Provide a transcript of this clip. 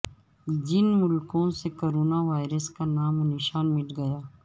جن ملکوں سے کرونا وائرس کا نام و نشان مٹ گیا